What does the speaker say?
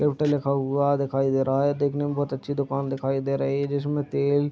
beauty लिखा हुआ दिखाई दे रहा है | देखने में बहुत अच्छी दुकान दिखाई दे रही है जिसमे तेल --